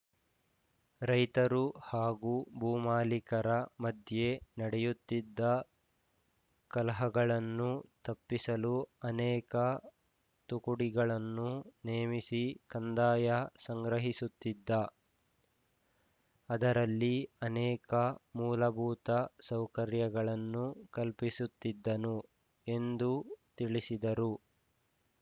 ರೈತರು ಹಾಗೂ ಭೂಮಾಲೀಕರ ಮಧ್ಯೆ ನಡೆಯುತ್ತಿದ್ದ ಕಲಹಗಳನ್ನು ತಪ್ಪಿಸಲು ಅನೇಕ ತುಕುಡಿಗಳನ್ನು ನೇಮಿಸಿ ಕಂದಾಯ ಸಂಗ್ರಹಿಸುತ್ತಿದ್ದ ಅದರಲ್ಲಿ ಅನೇಕ ಮೂಲಭೂತ ಸೌಕರ್ಯಗಳನ್ನು ಕಲ್ಪಿಸುತ್ತಿದ್ದನು ಎಂದು ತಿಳಿಸಿದರು